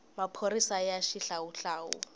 maphorisaya xihlawuhlawu